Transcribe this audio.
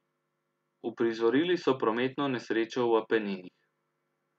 Uprizorili so prometno nesrečo v Apeninih.